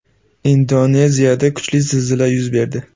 Indoneziyada kuchli zilzila yuz berdi.